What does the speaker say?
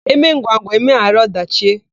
E mee ngwangwa, e meghara ọdachị.